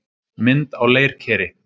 Mynd á leirkeri.